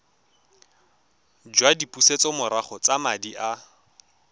jwa dipusetsomorago tsa madi a